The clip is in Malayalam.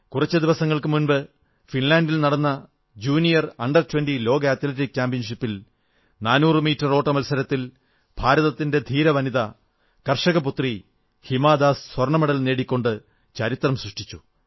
കുറച്ചു ദിവസങ്ങൾക്കു മുമ്പ് ഫിൻലാൻഡിൽ നടന്ന ജൂനിയർ അണ്ടർ 20 ലോക അത്ലറ്റിക് ചാമ്പ്യൻഷിപ്പിൽ 400 മീറ്റർ ഓട്ട മത്സരത്തിൽ ഭാരതത്തിന്റെ ധീര വനിത കർഷകപുത്രി ഹിമാ ദാസ് സ്വർണ്ണമെഡൽ നേടിക്കൊണ്ട് ചരിത്രം സൃഷ്ടിച്ചു